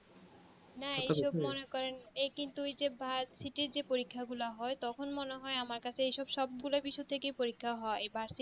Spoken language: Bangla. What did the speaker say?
না এই সব মনে করেন এ কিন্তু ওই যে বার্সিটি যে পরীক্ষা গুলো হয় তখন মনে হয় আমার কাছে এইসব সবগুলোই কিছু থাকে পরীক্ষা গুলো হয় বার্ষিক